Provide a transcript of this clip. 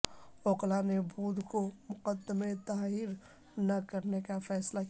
وکلاء نے بدھ کو مقدمے دائر نہ کرنے کا فیصلہ کیا